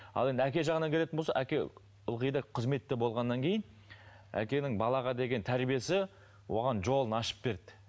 ал енді әке жағына келетін болсақ әке ылғи да қызметте болғаннан кейін әкенің балаға деген тәрбиесі оған жолын ашып берді